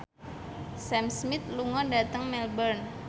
Sam Smith lunga dhateng Melbourne